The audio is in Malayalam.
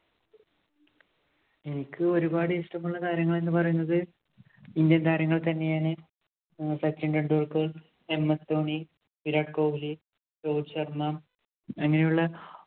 എനിക്ക് ഒരുപാട് ഇഷ്ടമുള്ള താരങ്ങള്‍ എന്ന് പറയുന്നത് Indian താരങ്ങള്‍ തന്നെയാണ്. സച്ചിന്‍ ടെണ്ടുല്‍ക്കര്‍, MS ധോണി, വിരാട് കോഹിലി, രോഹിത് ശര്‍മ്മ അങ്ങനെയുള്ള